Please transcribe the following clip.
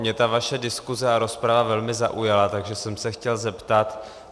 Mě ta vaše diskuse a rozprava velmi zaujala, takže jsem se chtěl zeptat.